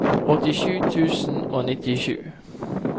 åttisju tusen og nittisju